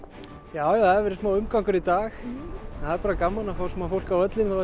já það hefur verið smá umgangur í dag en það er bara gaman að fá smá fólk á völlinn þó